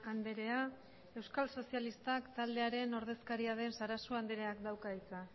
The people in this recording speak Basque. andrea euskal sozialistak taldearen ordezkaria den sarasua andreak dauka hitza